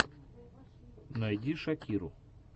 найди шакиру